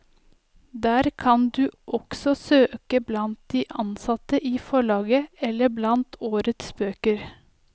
Der kan du også søke blant de ansatte i forlaget eller blant årets bøker.